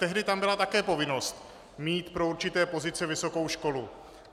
Tehdy tam byla také povinnost mít pro určité pozice vysokou školu.